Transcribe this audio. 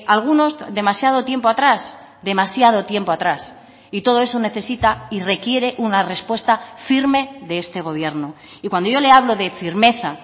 algunos demasiado tiempo atrás demasiado tiempo atrás y todo eso necesita y requiere una respuesta firme de este gobierno y cuando yo le hablo de firmeza